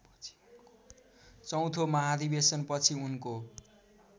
चौथो महाधिवेशनपछि उनको